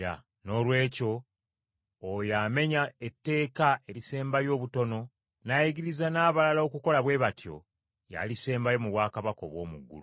Noolwekyo oyo amenya etteeka erisembayo obutono, n’ayigiriza n’abalala okukola bwe batyo, y’alisembayo mu bwakabaka obw’omu ggulu.